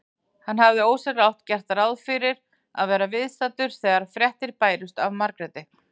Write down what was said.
Hann hafði ósjálfrátt gert ráð fyrir að vera viðstaddur þegar fréttir bærust af Margréti.